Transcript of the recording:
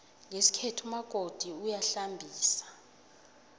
ngesikhethu umakoti uyahlambisa